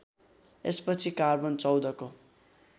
यसपछि कार्बन १४ को